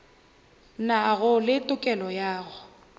nago le tokelo ya go